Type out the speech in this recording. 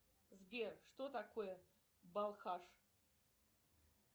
сбер что такое балхаш